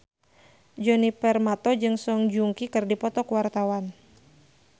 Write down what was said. Djoni Permato jeung Song Joong Ki keur dipoto ku wartawan